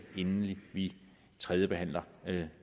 inden vi tredjebehandler